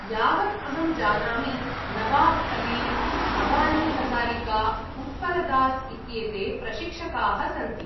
यावत् अहं जानामि, नवाब् अली, अबानी हज़ारिका, उत्पलदास इत्येते प्रशिक्षकाः सन्ति।